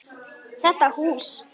Þetta hús?